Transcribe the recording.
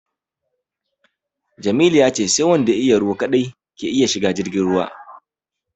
Jamilu ya ce sai wanda ya iya ruwa kaɗai ke iya shiga jirgin ruwa